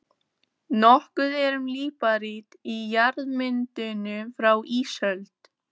Nokkuð er um líparít í jarðmyndunum frá ísöld.